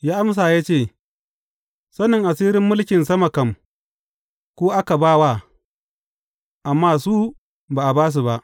Ya amsa ya ce, Sanin asirin mulkin sama kam, ku aka ba wa, amma su ba a ba su ba.